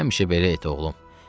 Həmişə belə et, oğlum.